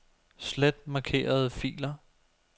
Slet markerede filer.